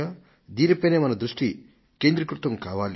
దీనిపై మన దృష్టి కేంద్రీకృతం కావాలి